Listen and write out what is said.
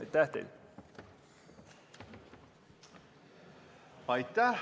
Aitäh teile!